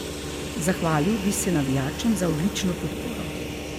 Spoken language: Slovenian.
Zahvalil bi se navijačem za odlično podporo.